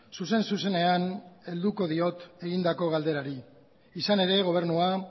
zuzen zuzenean helduko diot egindako galderari izan ere gobernua